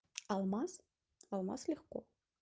алмаз алмаз легко